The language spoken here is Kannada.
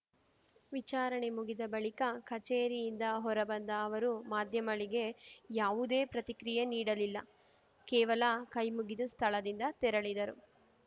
ವಿಚಾರಣೆ ಮುಗಿದ ಬಳಿಕ ಕಚೇರಿಯಿಂದ ಹೊರಬಂದ ಅವರು ಮಾಧ್ಯಮಳಿಗೆ ಯಾವುದೇ ಪ್ರತಿಕ್ರಿಯೆ ನೀಡಲಿಲ್ಲ ಕೇವಲ ಕೈಮುಗಿದು ಸ್ಥಳದಿಂದ ತೆರಳಿದರು